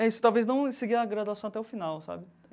É isso, talvez não seguir a graduação até o final, sabe?